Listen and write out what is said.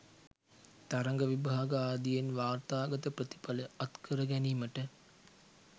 තරග විභාග ආදියෙන් වාර්තාගත ප්‍රතිඵල අත්කර ගැනීමට